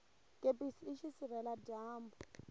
kepisi i xisirhela dyambu